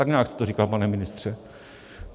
Tak nějak jste to říkal, pane ministře.